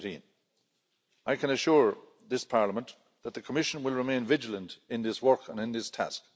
2018. I can assure this Parliament that the Commission will remain vigilant in this work and in this task.